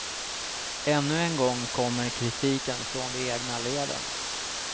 Ännu en gång kommer kritiken från de egna leden.